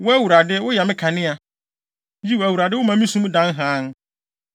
Wo Awurade, woyɛ me kanea. Yiw, Awurade woma me sum dan hann.